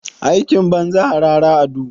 Aikin banza, harara a duhu.